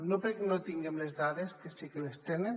no perquè no en tinguem les dades que sí que les tenen